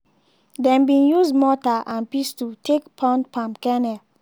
dem bin use mortar and pestle take pound palm kernel.